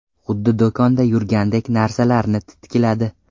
Xuddi do‘konda yurgandek narsalarni titkiladi.